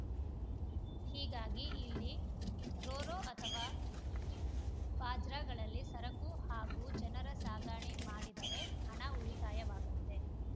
ಹೀಗಾಗಿ ಇಲ್ಲಿ ರೋರೋ ಅಥವಾ ಬಾಜ್‌ರ್‍ಗಳಲ್ಲಿ ಸರಕು ಹಾಗೂ ಜನರ ಸಾಗಣೆ ಮಾಡಿದರೆ ಹಣ ಉಳಿತಾಯವಾಗಲಿದೆ